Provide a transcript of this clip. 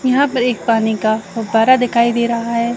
यहाँ पर एक पानी का फुब्बारा दिखाई दे रहा है।